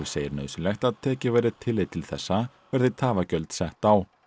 segir nauðsynlegt að tekið verði tillit til þessa verði tafagjöld sett á